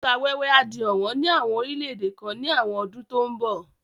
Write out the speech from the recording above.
Òkúta wẹ́wẹ́ á di ọ̀wọ́n ní àwọn orílẹ̀ èdè kan ní àwọn ọdún tó ń bo